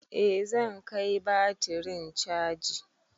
Eh zan kai batirin caji.